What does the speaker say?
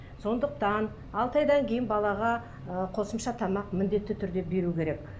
сондықьан алты айдан кейін балаға ыыы қосымша тамақ міндетті түрде беру керек